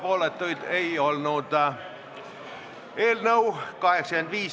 Kas sellest võib välja lugeda, et meie riiki juhivad tõesti täna ebaprofessionaalid ja üks neist on tõesti peaministri erakond?